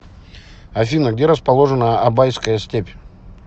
афина где расположена абайская степь